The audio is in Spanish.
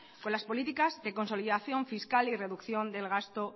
con las políticas de consolidación fiscal y reducción del gasto